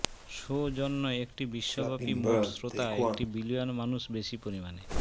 show জন্য একটি বিশ্বব্যাপী মোট শ্রোতা একটি বিলিয়ন মানুষ বেশী পরিমাণে